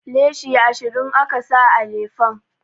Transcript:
Leshi ashirin aka sa a lefen